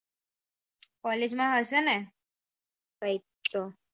college માં હશે ને કૈક તો